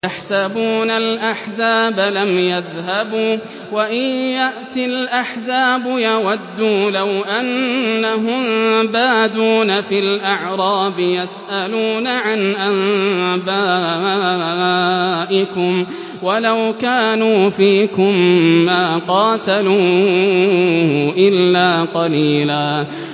يَحْسَبُونَ الْأَحْزَابَ لَمْ يَذْهَبُوا ۖ وَإِن يَأْتِ الْأَحْزَابُ يَوَدُّوا لَوْ أَنَّهُم بَادُونَ فِي الْأَعْرَابِ يَسْأَلُونَ عَنْ أَنبَائِكُمْ ۖ وَلَوْ كَانُوا فِيكُم مَّا قَاتَلُوا إِلَّا قَلِيلًا